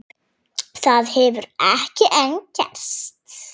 Það hefur ekki enn gerst.